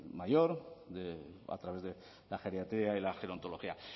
mayor a través de la geriatría y la gerontología